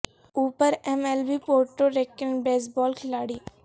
اوپر M L B Puerto Rican baseball کھلاڑی